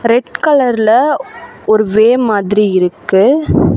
Red கலர்ல ஒரு way மாதிரி இருக்கு.